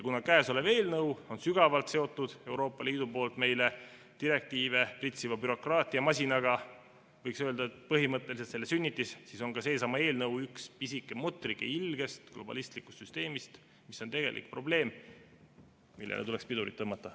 Kuna käesolev eelnõu on sügavalt seotud Euroopa Liidust meile direktiive pritsiva bürokraatiamasinaga , siis on ka seesama eelnõu üks pisike mutrike ilges globalistlikus süsteemis, mis on tegelik probleem, millele tuleks pidurit tõmmata.